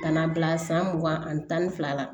Ka na bila san mugan ani tan ni fila la